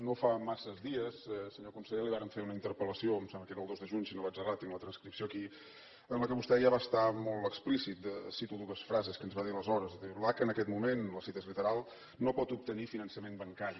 no fa massa dies senyor conseller li vàrem fer una interpel·lació em sembla que era el dos de juny si no vaig errat tinc la transcripció aquí en què vostè ja va ser molt explícit cito dues frases que ens va dir aleshores diu l’aca en aquest moment la cita és literal no pot obtenir finançament bancari